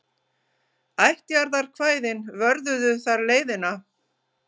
Ættjarðarkvæðin vörðuðu þar leiðina.